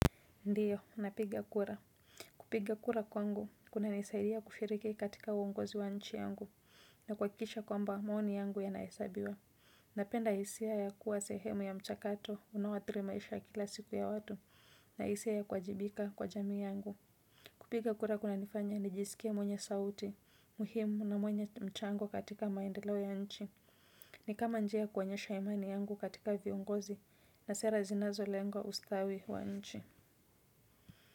Ndiyo, napiga kura. Kupiga kura kwangu, kunanisaidia kushiriki katika uongozi wa nchi yangu na kuhakisha kwamba maoni yangu ya naesabiwa. Napenda isia ya kuwa sehemu ya mchakato, unawathiri maisha kila siku ya watu na isia ya kuajibika kwa jamii yangu. Kupiga kura kuna nifanya, nijisikie mwenye sauti, muhimu na mwenye mchango katika maendelo ya nchi. Ni kama njia kuonyesha imani yangu katika viongozi na sera zinazo lenga ustawi wa nchi.